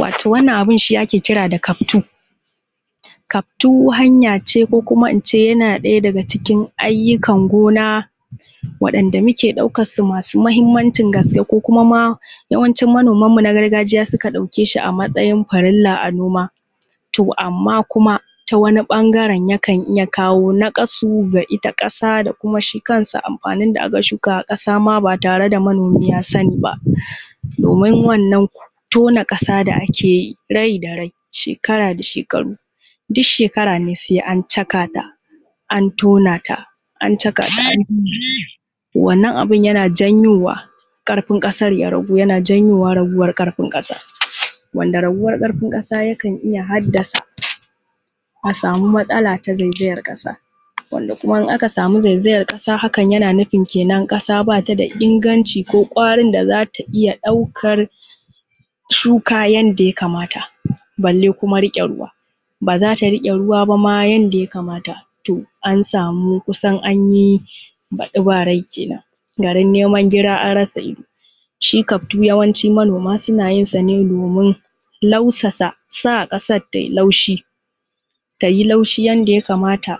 Wato wannan abin shi ake kira da kaftu. Kaftu hanya ce ko kuma ince yana ɗaya daga cikin ayyukan gona wanda muke ɗaukan su masu mahimmancin gaske, ko kuma ma yawancin manomanmu na gargajiya suka ɗauke shi a matsayin farilla a noma. To amma kuma ta wani ɓangaren yakan iya kawo naƙasu ga ita ƙasa da kuma shi kansa amfanin da aka shuka a ƙasa ma ba tare da manomi ya sani ba. Wannan tona ƙasa da ake yi, rai da rai, shekara da shekaru, duk shekara ne sai an caka ta, an tona ta, an caka an, wannan abin yana janyowa ƙarfin ƙasar ya ragu, yana janyowa raguwar ƙarfin ƙasa. Wanda raguwan ƙarfin ƙasa yakan iya haddasa a samu matsala ta zaizayar ƙasa, wanda kuma in aka samu zaizayar ƙasa hakan yana nufin ƙasa ba ta da inganci ko ƙwarin da za ta iya ɗaukar shuka yanda ya kamata balle kuma riƙe ruwa. Ba za ta riƙe ruwa ba ma yanda ya kamata, to an samu kusan anyi baɗi ba rai kenan, garin neman gira an rasa ido. Shi kaftu yawancin manoma suna yin sa ne domin nausasa, sa ƙasar ta yi laushi, ta yi laushi yanda ya kamata,